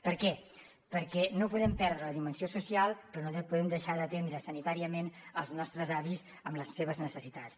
per què perquè no podem perdre la dimensió social però no podem deixar d’atendre sanitàriament els nostres avis amb les seves necessitats